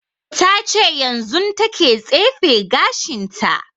Ta ce yanzun ta ke tsefe gashin ta